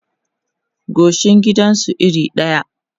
goshin gidan su iri ɗaya